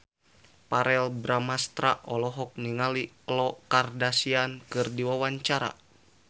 Verrell Bramastra olohok ningali Khloe Kardashian keur diwawancara